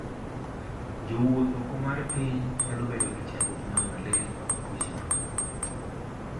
Jowuoth oko mar piny nyalo bedo gi chandruok mar malaria kod tuoche mamoko.